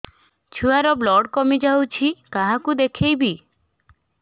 ଛୁଆ ର ବ୍ଲଡ଼ କମି ଯାଉଛି କାହାକୁ ଦେଖେଇବି